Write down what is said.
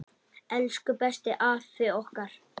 Elsku besti afi okkar!